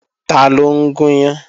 Taló ń gún yán?